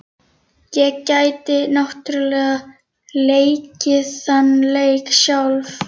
Ég gæti náttúrlega leikið þann leik sjálf.